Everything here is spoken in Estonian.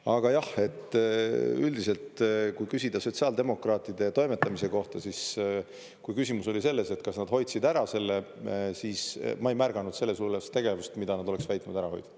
Aga jah, üldiselt, kui küsida sotsiaaldemokraatide toimetamise kohta, siis kui küsimus oli selles, et kas nad hoidsid ära selle, siis ma ei märganud sellist tegevust, mida nad oleksid saanud ära hoida.